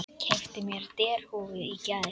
Keypti mér derhúfu í gær.